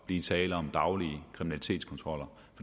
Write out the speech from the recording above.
blive tale om daglige kriminalitetskontroller